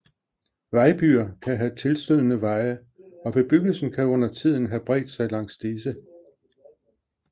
Vejbyer kan have tilstødende veje og bebyggelsen kan undertiden have bredt sig langs disse